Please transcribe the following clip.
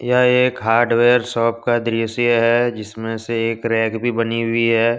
यह एक hardware shop का दृश्य है जिसमें से एक रैक भी बनी हुई है।